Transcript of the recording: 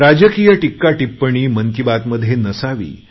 राजकीय टीका टिप्पणी मन की बात मध्ये नसावी